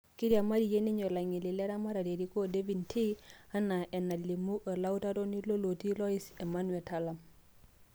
Kiriamariayia ninye ilangeni le ramatare erikoo David Ndii," enaa enalimu olautaroni lolotii lorais Emmanuel Talam.